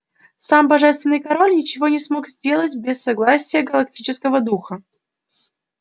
сам божественный король ничего не смог сделать без согласия галактического духа